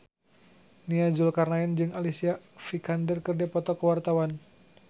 Nia Zulkarnaen jeung Alicia Vikander keur dipoto ku wartawan